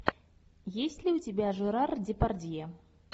есть ли у тебя жерар депардье